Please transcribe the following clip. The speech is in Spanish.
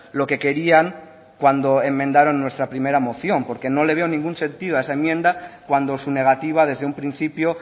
lo que querían cuando enmendaron nuestra primera moción porque no le veo ningún sentido a esa enmienda cuando su negativa desde un principio